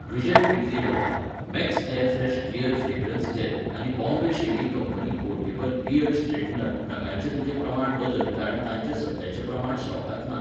Vijay idli rava , max air fresh clear fragrance gel आनी Bombay shaving company portable beard straightener नगांचें तुजें प्रमाण बदल कारण तांचें सद्याचे प्रमाण स्टॉकांत ना.